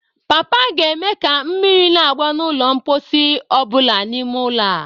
Papa ga-eme ka mmiri na-agba n'ụlọ mposi ọ bụla n'ime ụlọ a.